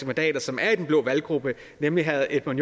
mandater som er i den blå valggruppe nemlig herre edmund